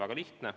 Väga lihtne.